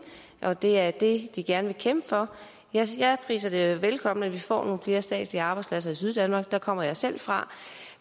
og at det er det de gerne vil kæmpe for jeg hilser det velkommen at vi får nogle flere statslige arbejdspladser i syddanmark der kommer jeg selv fra